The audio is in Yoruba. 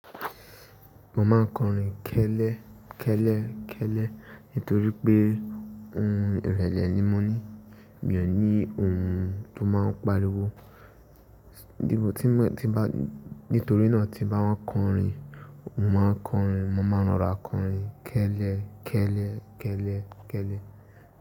Mo maa n korin kele kele nitori pe ohun irele ni mo ni mi ò ní ohun tó máa ń pariwo. Nítorí náà ti bá wọ́n kọrin, mo máa kọrin, mo máa rọra kọrin kẹ́lẹ́, kẹ́lẹ́, kẹ́lẹ́, kẹ́lẹ́.